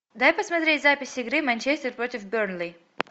дай посмотреть запись игры манчестер против бернли